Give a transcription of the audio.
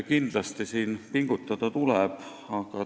Kindlasti tuleb aga edasi pingutada.